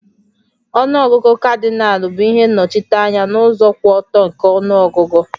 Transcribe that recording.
Ọnụ ọgụgụ Kadịnal bụ ihe nnochite anya n'ụzọ kwụ ọtọ nke ọnụọgụ